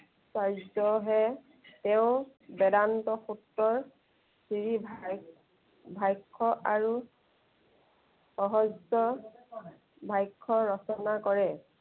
চাৰ্য হে, তেওঁ বেদান্ত পুত্ৰৰ, চিৰি ভা~ভাষ্য় আৰু সহজ্য় ভাষ্য় ৰচনা কৰে।